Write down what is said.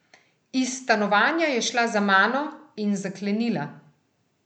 Iz stanovanja je šla za mano in zaklenila.